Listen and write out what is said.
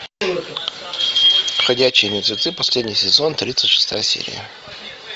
ходячие мертвецы последний сезон тридцать шестая серия